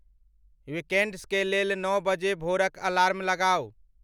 weekends के लेल नौ बजे भोरक अलार्म लगाऊं